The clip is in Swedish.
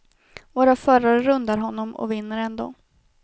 Våra förare rundar honom och vinner ändå.